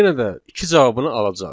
yenə də iki cavabını alacağıq.